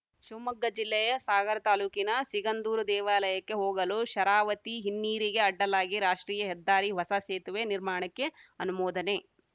ಶಿವಮೊಗ್ಗ ಜಿಲ್ಲೆಯ ಸಾಗರ ತಾಲೂಕಿನ ಸಿಗಂದೂರು ದೇವಾಲಯಕ್ಕೆ ಹೋಗಲು ಶರಾವತಿ ಹಿನ್ನೀರಿಗೆ ಅಡ್ಡಲಾಗಿ ರಾಷ್ಟ್ರೀಯ ಹೆದ್ದಾರಿ ಹೊಸ ಸೇತುವೆ ನಿರ್ಮಾಣಕ್ಕೆ ಅನುಮೋದನೆ